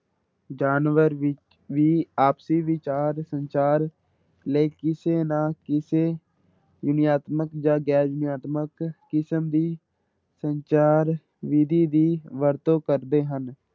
ਜਾਨਵਰ ਵੀ ਵੀ ਆਪਸੀ ਵਿਚਾਰ ਸੰਚਾਰ ਲਈ ਕਿਸੇ ਨਾ ਕਿਸੇ ਧੁਨੀਆਤਮਕ ਜਾਂ ਗੈਰ ਧੁਨੀਆਤਮਕ ਕਿਸਮ ਦੀ ਸੰਚਾਰ ਵਿੱਧੀ ਦੀ ਵਰਤੋਂ ਕਰਦੇ ਹਨ।